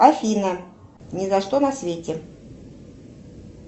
афина ни за что на свете